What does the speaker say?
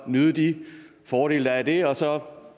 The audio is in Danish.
nyde de fordele der er ved det og så